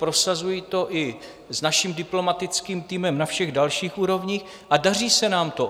Prosazuji to i s naším diplomatickým týmem na všech dalších úrovních a daří se nám to.